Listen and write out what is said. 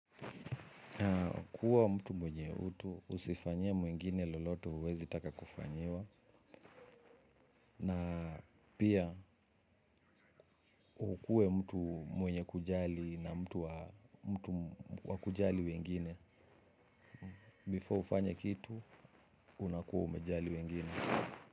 Kuwa mtu mwenye utu, usifanyie mwengine loloto huwezi taka kufanyiwa na pia ukuwe mtu mwenye kujali na mtu wa kujali wengine. Before ufanye kitu, unakuwa umejali wengine.